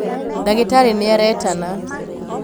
ndagĩtarĩ nĩaretana